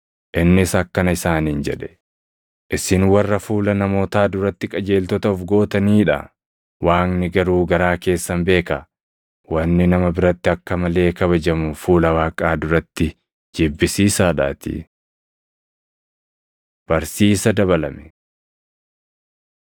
Innis akkana isaaniin jedhe; “Isin warra fuula namootaa duratti qajeeltota of gootanii dha; Waaqni garuu garaa keessan beeka. Wanni nama biratti akka malee kabajamu fuula Waaqaa duratti jibbisiisaadhaatii. Barsiisa Dabalame